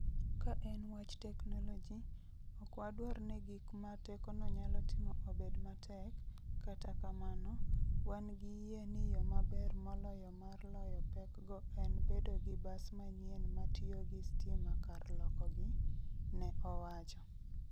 Ka en wach teknoloji, ok wadwar ni gik ma tekono nyalo timo obed matek, kata kamano, wan gi yie ni yo maber moloyo mar loyo pekgo en bedo gi bas manyien ma tiyo gi stima kar lokogi, ne owacho.